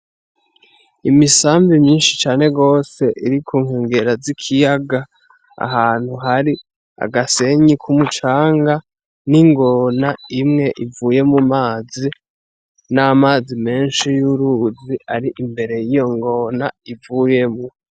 Imisambi myinshi cane gose iri ku nkengera z'ikiyaga, ahantu hari agasenyi k'umucanga n'ingona imwe ivuye mum'amazi, n'amazi menshi y'uruzi ari imbere y'iyo ngona ivuyemwo.